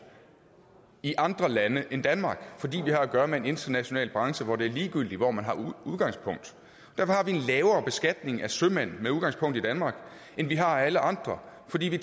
i andre lande end danmark fordi vi har at gøre med en international branche hvor det er ligegyldigt hvor man har udgangspunkt derfor har vi en lavere beskatning af sømænd med udgangspunkt i danmark end vi har af alle andre fordi